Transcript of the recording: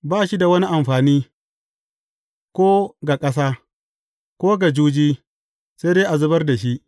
Ba shi da wani amfani, ko ga ƙasa, ko ga juji, sai dai a zubar da shi.